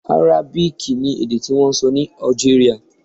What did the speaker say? Arábìkì ni èdè tí wọ́n ń sọ ní Algeria.